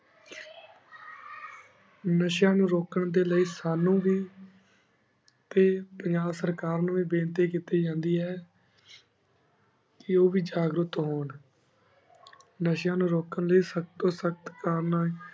ਨਾਸ਼ੇਯਾਂ ਨੂ ਰੁਕਣ ਲੇਇ ਸਾਨੂ ਵੀ ਤੇ ਪੰਜਾਬ ਸਰਕਾਰ ਨੂ ਵੀ ਬਿਨਤੀ ਕੀਤੀ ਜਾਂਦੀ ਏ ਕੀ ਉਹ ਵੀ ਜਗਰੁਤ ਹੁਣ ਨਸ਼ੇਆਂ ਨੂ ਰੁਕਣ ਲੈ ਸਬ ਸਖਤ ਤੂ ਸਖ਼ਤ ਕਰਨਾ